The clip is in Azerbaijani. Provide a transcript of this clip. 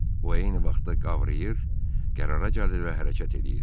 O eyni vaxtda qavrayır, qərara gəlir və hərəkət eləyirdi.